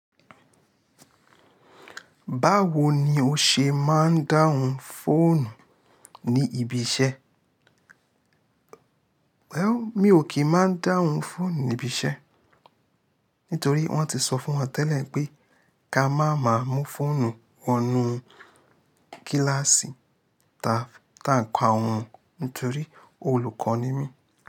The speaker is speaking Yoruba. Báwo ni o ṣe máa ń dáhùn fóònù ní ibi iṣẹ́? Wẹ̀ ọ, mi ò kì í máa ń dáhùn fóònù ní ibi iṣẹ́. Nítorí wọ́n ti sọ fún wa tẹ́lẹ̀ pé ká máa ma mú fóònù wọnú kíláàsì tá ń ka awon. Nítorí olùkọ́ ni mí.